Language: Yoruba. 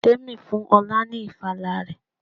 Tèmi fún ọlá ni ìfala rẹ.